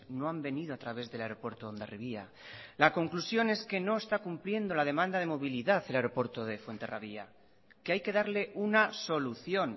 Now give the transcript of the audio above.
no han venido a través del aeropuerto de hondarribia la conclusión es que no está cumpliendo la demanda de movilidad el aeropuerto de fuenterrabía que hay que darle una solución